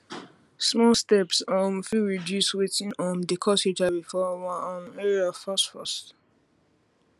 small steps um fit reduce watin um dey cause hiv for our um area fast fast